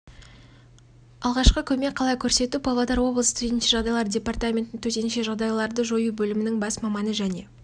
алғашқы көмек қалай көрсету павлодар облысы төтенше жағдайлар департаменті төтенше жағдайларды жою бөлімінің бас маманы және